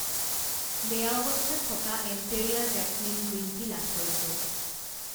বেয়া অৱস্থাত থকা এম্পেৰীয়া জেচমিন গ্ৰীণ টি লাভ কৰিছোঁ।